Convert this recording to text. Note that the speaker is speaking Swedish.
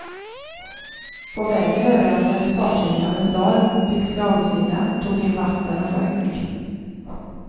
På vägen överraskades fartyget av en storm, fick slagsida, tog in vatten och sjönk.